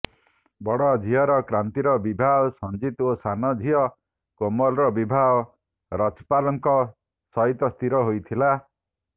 ବଡ଼ ଝିଅର କ୍ରାନ୍ତିର ବିବାହ ସଞ୍ଜିତ ଓ ସାନ ଝିଅ କୋମଲର ବିବାହ ରଛପାଲଙ୍କ ସହିତ ସ୍ଥିର ହୋଇଥିଲା